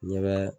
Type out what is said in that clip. Ɲɛ bɛ